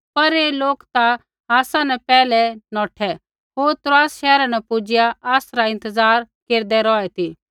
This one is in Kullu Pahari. पर ऐ लोक ता आसा न पैहलै ही नौठै होर त्रोआसा शैहरा न पुजिआ आसरा इंतज़ार केरदै रौहै ती